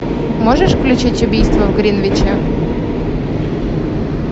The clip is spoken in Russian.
можешь включить убийство в гринвиче